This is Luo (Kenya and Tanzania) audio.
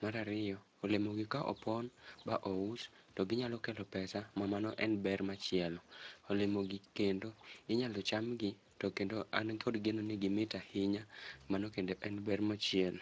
Mar ariyo, olemo gi ka opon ma ous, to ginyalo kelo pesa ma mano en ber machielo. Olemo gi kendo inyalo cham gi, to kendo an kod geno ni gimit ahinya, mano kendo en ber machielo.